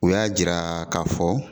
U y'a jira k'a fɔ